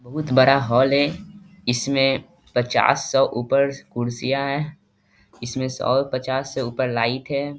बहुत बड़ा हॉल है इसमें पचास सौ ऊपर कुर्सियाँ हैं इसमें सौ पचास से ऊपर लाइट है।